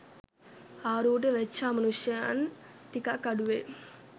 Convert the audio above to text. ආරූඪ වෙච්ච අමනුෂ්‍යයන් ටිකක් අඩුවෙයි